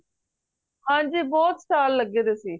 ਹੰਜੀ ਬਹਿਤ stall ਲੱਗੇ ਦੇ ਸੀ